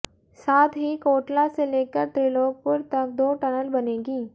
साथ ही कोटला से लेकर त्रिलोकपुर तक दो टनल बनेंगी